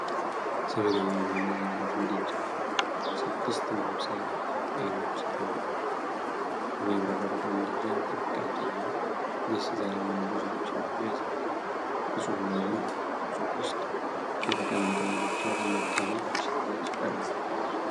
ዘመናዊ የሆነ የብረት ምድጃ እና ስድስት ማብሰያ አይኖች ይታያሉ። የሚያብረቀርቀው ምድጃ ጥንቃቄና ደስታ ለሚወዱ ሰዎች እንደሆነ ያስረዳል። ንጹህና ብሩህ በሆነ ሱቅ ውስጥ የተቀመጠው ምድጃ፣ በመደነቅ ለሽያጭ ቀርቧል።